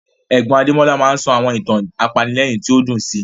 Ẹ̀gbọ́n Adémọ́lá máa ń sọ àwọn ìtàn apanilẹ́rìn tí ó dùn sí